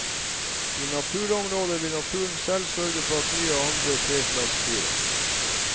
I naturområder vil naturen selv sørge for at nye og andre treslag spirer.